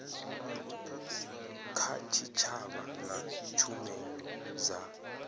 kha tshitshavha na tshumelo dza